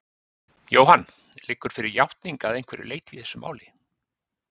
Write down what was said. Jóhann: Liggur fyrir játning að einhverju leyti í þessu máli?